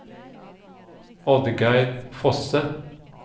Oddgeir Fosse